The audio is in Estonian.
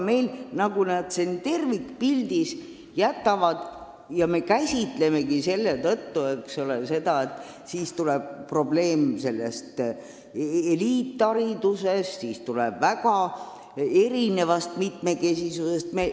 Aga me käsitleme seda nii, et siis tekib probleem eliithariduse ja mitmekesisusega.